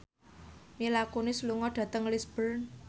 Mila Kunis lunga dhateng Lisburn